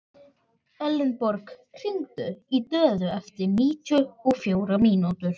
Elenborg, hringdu í Döðu eftir níutíu og fjórar mínútur.